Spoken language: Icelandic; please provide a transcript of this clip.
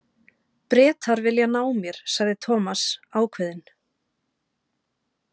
Bretar vilja ná mér sagði Thomas ákveðinn.